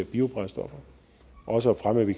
biobrændstoffer og også at fremme at vi